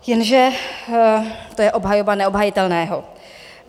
Jenže to je obhajoba neobhajitelného.